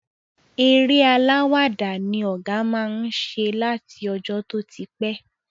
Eré alàwàdá ni ọ̀gá má ń ṣe láti ọjọ́ tó ti pẹ́